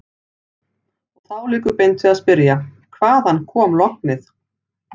Og þá liggur beint við að spyrja: Hvaðan kom lognið?